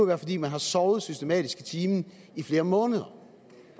være fordi man har sovet systematisk i timen i flere måneder